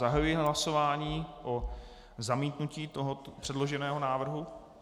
Zahajuji hlasování o zamítnutí tohoto předloženého návrhu.